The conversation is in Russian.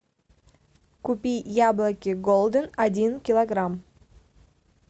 купи яблоки голден один килограмм